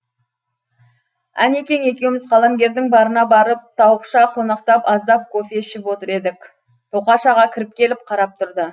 әнекең екеуміз қаламгердің барына барып тауықша қонақтап аздап кофе ішіп отыр едік тоқаш аға кіріп келіп қарап тұрды